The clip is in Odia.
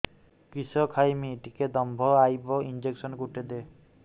କିସ ଖାଇମି ଟିକେ ଦମ୍ଭ ଆଇବ ଇଞ୍ଜେକସନ ଗୁଟେ ଦେ